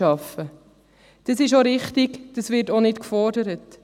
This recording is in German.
Das ist auch richtig, das wird auch nicht gefordert.